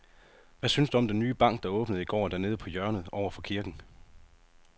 Hvad synes du om den nye bank, der åbnede i går dernede på hjørnet over for kirken?